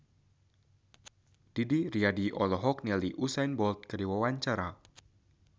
Didi Riyadi olohok ningali Usain Bolt keur diwawancara